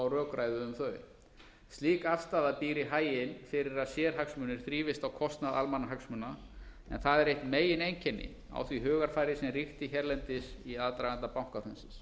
rökræðu um þau slík afstaða býr í haginn fyrir að sérhagsmunir þrífist á kostnað almannahagsmuna en það er eitt megineinkenni á því hugarfari sem ríkti hérlendis í aðdraganda bankahrunsins